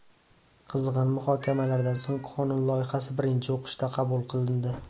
Qizg‘in muhokamalardan so‘ng qonun loyihasi birinchi o‘qishda qabul qilindi.